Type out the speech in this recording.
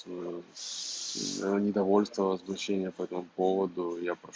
ээ да недовольство возмущение по этому поводу я прош